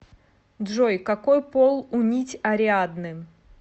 джой какой пол у нить ариадны